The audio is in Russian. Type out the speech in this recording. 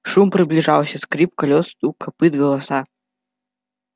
шум приближался скрип колёс стук копыт голоса